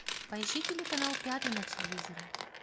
поищи телеканал пятый на телевизоре